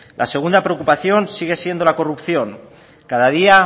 la segunda preocupación sigue siendo la corrupción cada día